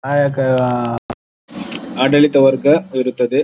ಆಯಾ ಕ ಆಹ್ಹ್ಹ್ಹ್ ಆಡಳಿತ ವರ್ಗ ಇರುತ್ತದ್ದೆ.